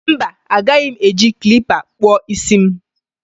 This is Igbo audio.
Mba, agaghị m eji klippa kpụọ isi m